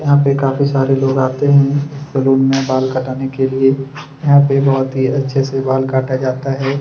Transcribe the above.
यहाँ पे काफी सारे लोग आते हैं सैलून में बाल कटाने के लिए यहाँ पे बहुत ही अच्छे से बाल काटा जाता है।